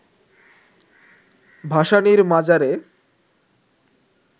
ভাসানীর মাজারে